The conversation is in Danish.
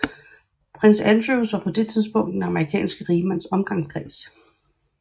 Prins Andrew var på det tidspunkt i den amerikanske rigmands omgangskreds